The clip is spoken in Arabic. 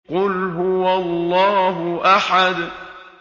قُلْ هُوَ اللَّهُ أَحَدٌ